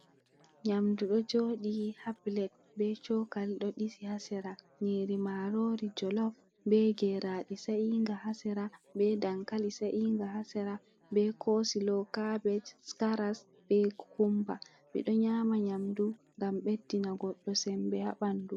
Nyamndu ɗo jooɗi haa pilet, be cookali ɗo ɗisi haa sera, nyiiri maaroori jolof, be geeraaɗe sa`iinga haa sera, be dankali sa`iinga haa sera, be koosulo kaabeej, karas, be kokummba, ɓe ɗo nyaama nyamndu ngam ɓeddina goɗɗo semmbe haa ɓanndu.